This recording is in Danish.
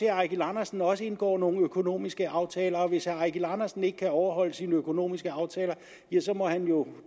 herre eigil andersen også indgår nogle økonomiske aftaler og hvis herre eigil andersen ikke kan overholde sine økonomiske aftaler ja så må han jo